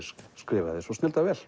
skrifaði svo snilldar vel